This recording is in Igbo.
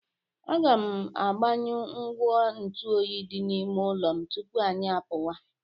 Aga m agbanyụ ngwa ntụ oyi dị n’ime ụlọ m tupu anyị apuwa.